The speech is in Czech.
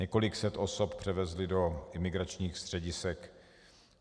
Několik set osob převezli do imigračních středisek.